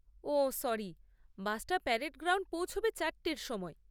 ওহ sorry, বাসটা parade ground পৌঁছবে চারটের সময়।